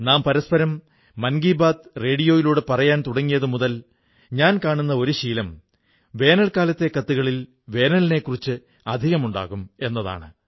നാം പരസ്പരം മൻ കീബാത് റേഡിയോയിലൂടെ പറയാൻ തുടങ്ങിയതുമുതൽ ഞാൻ കാണുന്ന ഒരു ശീലം വേനൽക്കാലത്തെ കത്തുകളിൽ വേനലിനെക്കുറിച്ച് അധികമായുണ്ടാകും എന്നതാണ്